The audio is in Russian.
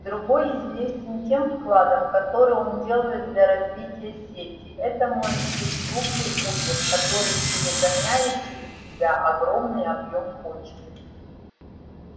другой известен тем вкладом который он делает для развития сети это может быть крупный узел который перегоняет через себя огромный объем почты